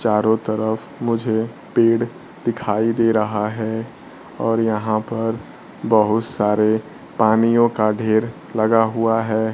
चारों तरफ मुझे पेड़ दिखाई दे रहा है और यहां पर बहुत सारे पानियों का ढेर लगा हुआ है।